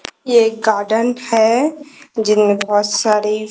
ये एक गार्डन है जिनमें बहोत सारी--